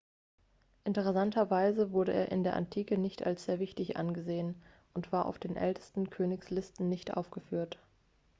interessanterweise wurde er in der antike nicht als sehr wichtig angesehen und war auf den ältesten königslisten nicht aufgeführt